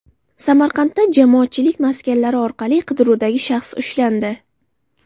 Samarqandda jamoatchilik maskanlari orqali qidiruvdagi shaxs ushlandi.